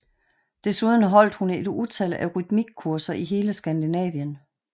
Desuden holdt hun et utal af rytmikkurser i hele Skandinavien